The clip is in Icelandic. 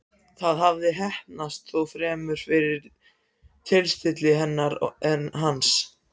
Það hafði heppnast, þó fremur fyrir tilstilli hennar en hans.